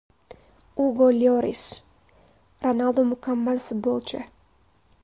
Ugo Lyoris: Ronaldu mukammal futbolchi.